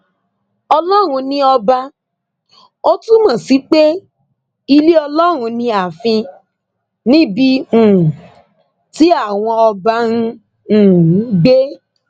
ọlọrun ni ọba ò túmọ sí pé ilé ọlọrun ni ààfin níbi um tí àwọn ọba ń um gbé